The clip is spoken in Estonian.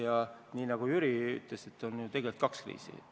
Ja nii nagu Jüri ütles, on ju tegelikult kaks kriisi.